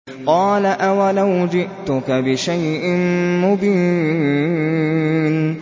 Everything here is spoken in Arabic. قَالَ أَوَلَوْ جِئْتُكَ بِشَيْءٍ مُّبِينٍ